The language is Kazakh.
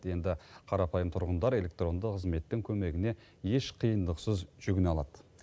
енді қарапайым тұрғындар электронды қызметтің көмегіне еш қиындықсыз жүгіне алады